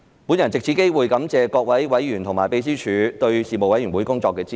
我藉此機會感謝各位委員和秘書處對事務委員會工作的支持。